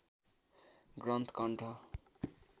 ग्रन्थ कण्ठ